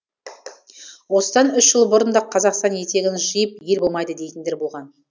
осыдан үш жыл бұрын да қазақстан етегін жиып ел болмайды дейтіндер болған